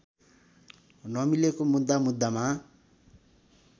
नमिलेको मुद्दा मुद्दामा